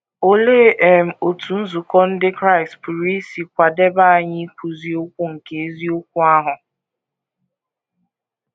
Olee um otú nzukọ ndị Kraịst pụrụ isi kwadebe anyị ikwuzi okwu nke eziokwu ahụ?